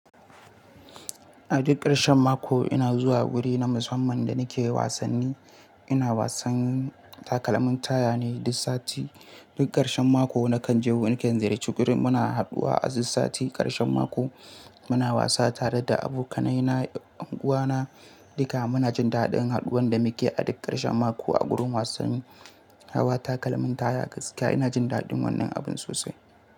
A duk ƙarshen mako ina zuwa guri na musamman da nake wasanni. Ina wasan takalmin taya ne duk sati. Duk ƙarshen mako nakan je wani kan ziyarci guri muna haɗuwa a duk sati ƙarshen mako. Muna wasa tare da abokanai na, unguwa na duka muna jin daɗin haɗuwan da muke a duk ƙarshen mako a gurin wasanni. Hawa takalmin taya gaskiya ina jin daɗin wannan abin sosai.